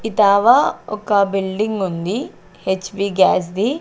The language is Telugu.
ఒక బిల్డింగుంది హెచ్ పీ గ్యాస్ ది.